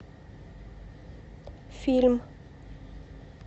фильм